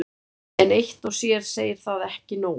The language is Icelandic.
en eitt og sér segir það ekki nóg